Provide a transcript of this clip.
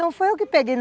Não, foi eu que peguei.